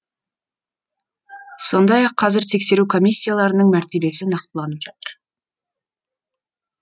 сондай ақ қазір тексеру комиссияларының мәртебесі нақтыланып жатыр